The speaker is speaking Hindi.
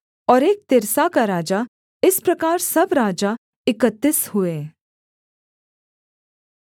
और एक तिर्सा का राजा इस प्रकार सब राजा इकतीस हुए